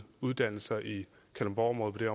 uddannelser i kalundborgområdet på det